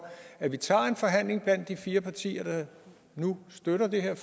at vi tager en forhandling blandt de fire partier der nu støtter det her